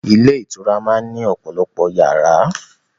Ilé ìtura máa ń ní ọ̀pọ̀lọpọ̀ yàrá.